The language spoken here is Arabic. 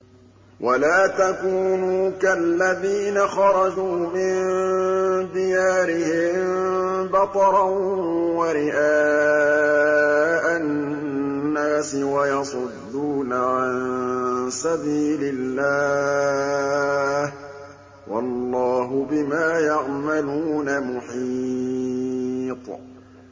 وَلَا تَكُونُوا كَالَّذِينَ خَرَجُوا مِن دِيَارِهِم بَطَرًا وَرِئَاءَ النَّاسِ وَيَصُدُّونَ عَن سَبِيلِ اللَّهِ ۚ وَاللَّهُ بِمَا يَعْمَلُونَ مُحِيطٌ